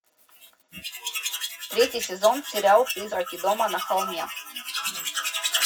третий сезон сериал призраки дома на холме